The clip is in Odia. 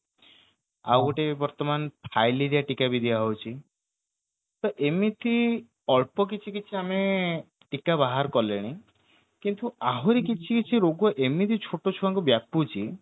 ଆଉଗୋଟେ ଫାଇଲେରିଆ ଟୀକା ବି ଦିଆ ହଉଛି ତ ଏମିତି ଅଳ୍ପ କିଛି କିଛି ଆମେ ଟୀକା ବାହାର କଲେଣି କିନ୍ତୁ ଆହୁରି କିଛି କିଛି ରୋଗ ଏମିତି ଛୋଟ ଛୁଆକୁ ବ୍ୟାପୁଚ୍ଛି